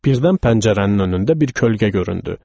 Birdən pəncərənin önündə bir kölgə göründü.